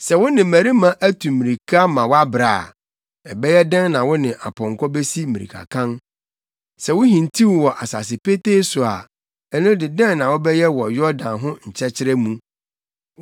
“Sɛ wo ne mmarima atu mmirika ama woabrɛ a, ɛbɛyɛ dɛn na wo ne apɔnkɔ besi mmirikakan? Sɛ wuhintiw wɔ asase petee so a, ɛno de, dɛn na wobɛyɛ wɔ Yordan ho nkyɛkyerɛ mu?